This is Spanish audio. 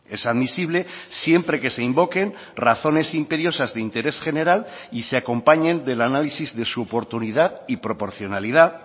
es admisible siempre que se invoquen razones imperiosas de interés general y se acompañen del análisis de su oportunidad y proporcionalidad